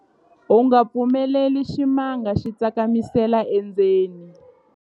u nga pfumeleli ximanga xi tsakamisela endzeni